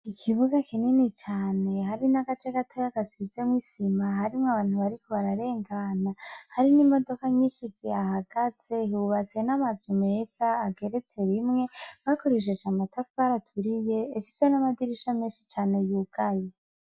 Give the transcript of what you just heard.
Ikibiga kinini cane, hari n'ace gatoya gasizwo isima, harimwo abantu bariko bararengana, hari n'imodoka nyinshi zihahagaze, hubatse n'amazu meza ageretse rimwe, bakoresheje amatafari aturiye, ifise n'amadirisha menshi cane yugaye.